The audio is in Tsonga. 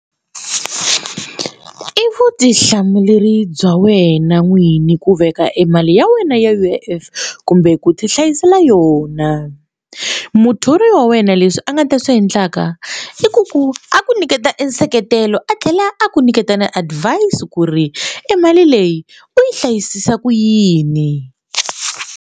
I vutihlamuleri bya wena n'wini ku veka emali ya wena ya U_I_F kumbe ku tihlayisela yona muthori wa wena leswi a nga ta swi endlaka i ku a ku nyiketa e nseketelo a tlhela a ku nyiketa na advise ku ri emali leyi u yi hlayisisa ku yini.